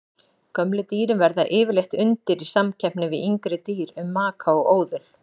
Gömlu dýrin verða yfirleitt undir í samkeppni við yngri dýr um maka og óðul.